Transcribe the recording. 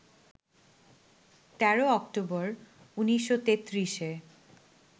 ১৩ October ১৯৩৩-এ